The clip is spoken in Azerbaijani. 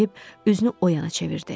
Deyib üzünü o yana çevirdi.